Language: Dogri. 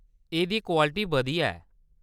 एह्‌‌‌दी क्वालिटी बधिया ऐ।